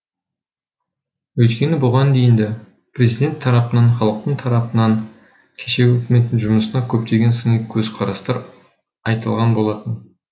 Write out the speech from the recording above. өйткені бұған дейін де президент тарапынан халықтың тарапынан кешегі үкіметтің жұмысына көптеген сыни көзқарастар айтылған болатын